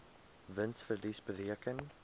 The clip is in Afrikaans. wins verlies bereken